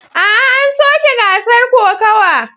A'a, an soke gasar kokawa.